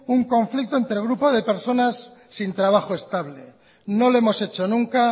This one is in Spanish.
un conflicto entre grupo de personas sin trabajo estable no lo hemos hecho nunca